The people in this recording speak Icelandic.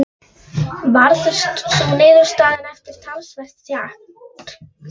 Loks þokuðust þeir innar í skálann og staðnæmdust við skrifpúltið.